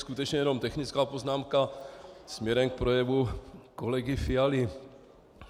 Skutečně jenom technická poznámka směrem k projevu kolegy Fialy.